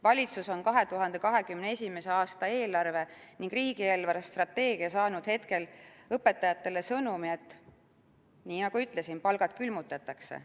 Valitsus on 2021. aasta eelarve ning riigi eelarvestrateegiaga saatnud õpetajatele sõnumi, nii nagu ma ütlesin, et palgad külmutatakse.